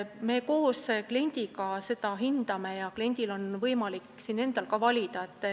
Me koos kliendiga seda hindame ja kliendil on võimalik ka endal valida.